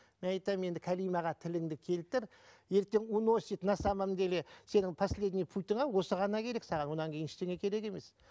мен айтамын енді кәлимаға тіліңді келтір ертең уносит на самом деле сенің последний путіңе осы ғана керек саған одан кейін ештеңе керек емес